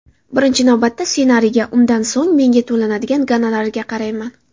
Birinchi navbatda ssenariyga, undan so‘ng menga to‘lanadigan gonorariga qarayman.